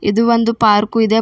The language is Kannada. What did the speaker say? ಇದು ಒಂದು ಪಾರ್ಕು ಇದೆ ಪಾ--